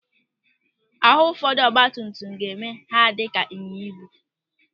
Àhụ́ ụfọdụ ọgbatumtum ga-eme ha adị ka ịnyịnyaibu.